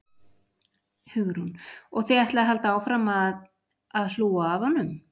Hugrún: Og þið ætlið að halda áfram að, að hlúa að honum?